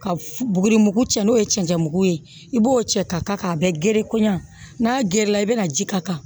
Ka f buguri mugu cɛ n'o ye cɛncɛn mugu ye i b'o cɛ ka gere kɔɲɔ n'a gere la i bɛna ji k'a kan